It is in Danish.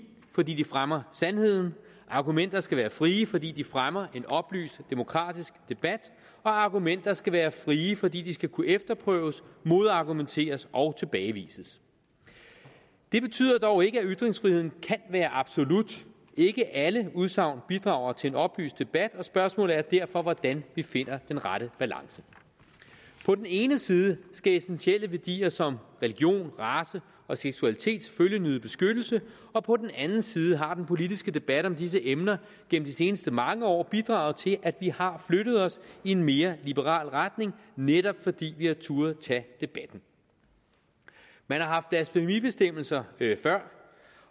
fordi de fremmer sandheden argumenter skal være frie fordi de fremmer en oplyst demokratisk debat og argumenter skal være frie fordi de skal kunne efterprøves modargumenteres og tilbagevises det betyder dog ikke at ytringsfriheden kan være absolut ikke alle udsagn bidrager til en oplyst debat spørgsmålet er derfor hvordan vi finder den rette balance på den ene side skal essentielle værdier som religion race og seksualitet selvfølgelig nyde beskyttelse og på den anden side har den politiske debat om disse emner gennem de seneste mange år bidraget til at vi har flyttet os i en mere liberal retning netop fordi vi har turdet tage debatten man har haft blasfemibestemmelser før